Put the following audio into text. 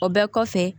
O bɛɛ kɔfɛ